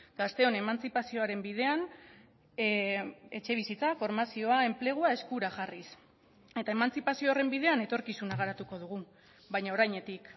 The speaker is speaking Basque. gazteon emantzipazioaren bidean etxebizitza formazioa enplegua eskura jarriz eta emantzipazio horren bidean etorkizuna garatuko dugu baina orainetik